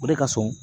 O de ka surun